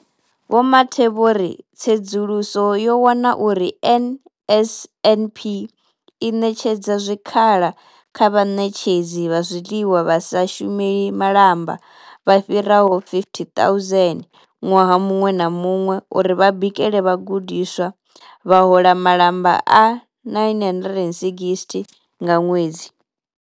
Vho Mathe vho ri, Tsedzuluso yo wana uri NSNP i ṋetshedza zwikhala kha vhaṋetshedzi vha zwiḽiwa vha sa shumeli malamba vha fhiraho 50 000 ṅwaha muṅwe na muṅwe uri vha bikele vhagudiswa, vha hola malamba a R960 nga ṅwedzi.